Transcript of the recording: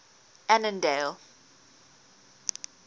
annandale